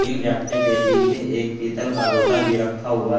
इन व्यक्ति के पीछे एक पीतल का लोटा भी रखा हुआ है।